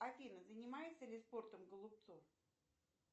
афина занимается ли спортом голубцов